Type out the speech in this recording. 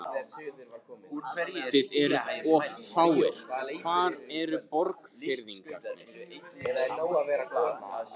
Þið eruð of fáir, hvar eru Borgfirðingarnir?